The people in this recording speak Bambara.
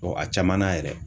Ɔ a caman na yɛrɛ.